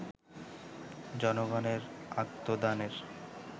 জনগণের আত্মদানের